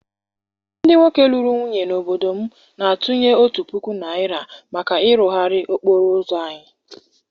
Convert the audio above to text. Ndị nwoke lụrụ nwunye n’obodo m na-atụnye otu puku naira maka ịrụgharị okporo ụzọ anyị.